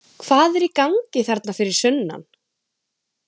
Hvað er í gangi þarna fyrir sunnan?